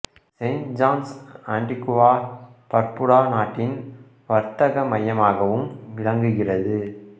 Saint John's Antigua Barbuda நாட்டின் வர்த்தக மையமாகவும் விளங்குகிறது